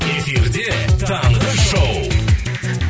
эфирде таңғы шоу